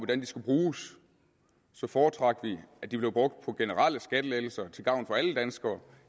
skulle bruges så foretrak vi at de blev brugt på generelle skattelettelser til gavn for alle danskere